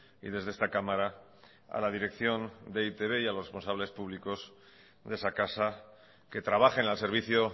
y desde esta cámara a la dirección de e i te be y a los responsables públicos de esa casa que trabajen al servicio